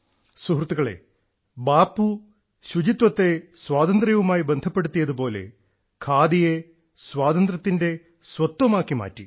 സുഹൃത്തുക്കളെ ബാപ്പു ശുചിത്വത്തെ സ്വാതന്ത്ര്യവുമായി ബന്ധപ്പെടുത്തിയത് പോലെ ഖാദിയെ സ്വാതന്ത്ര്യത്തിന്റെ സ്വത്വമാക്കി മാറ്റി